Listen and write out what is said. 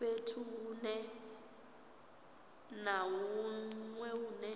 fhethu hunwe na hunwe hune